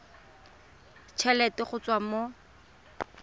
t helete go tswa mo